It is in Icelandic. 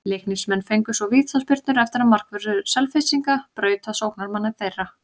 Leiknismenn fengu svo vítaspyrnu eftir að markvörður Selfyssinga braut á sóknarmanni þeirra.